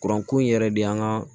Kuranko in yɛrɛ de y'an ka